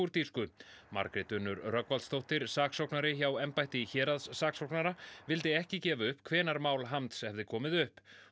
kúrdísku Margrét Unnur Rögnvaldsdóttir saksóknari hjá embætti héraðssaksóknara vildi ekki gefa upp hvenær mál Hamds hefði komið upp